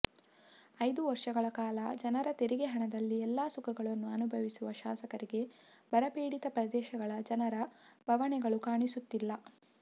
ಐದು ವರ್ಷಗಳ ಕಾಲ ಜನರ ತೆರಿಗೆ ಹಣದಲ್ಲಿ ಎಲ್ಲ ಸುಖಗಳನ್ನೂ ಅನುಭವಿಸುವ ಶಾಸಕರಿಗೆ ಬರಪೀಡಿತ ಪ್ರದೇಶಗಳ ಜನರ ಬವಣೆಗಳು ಕಾಣಿಸುತ್ತಿಲ್ಲ